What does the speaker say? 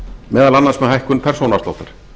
meðal annars með hækkun persónuafsláttar